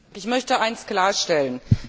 Ich möchte eins klarstellen.